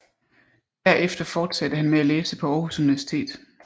Derefter fortsatte han med at læse på Aarhus Universitet